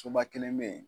Soba kelen be yen